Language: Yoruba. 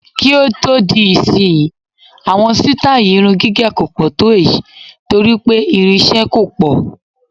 Kí ó di ìsìnyí, àwọn sítáì irun gígẹ̀ kò pọ̀ tó èyí torí pé ìrinṣẹ́ kò pọ̀.